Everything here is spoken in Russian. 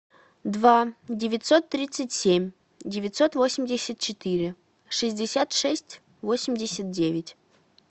два девятьсот тридцать семь девятьсот восемьдесят четыре шестьдесят шесть восемьдесят девять